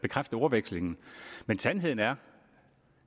bekræfte ordvekslingen men sandheden er